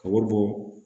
Ka wari bɔ